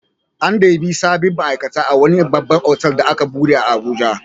An ɗebi sabbin ma'aikata a wani babban otal da aka buɗe a Abuja.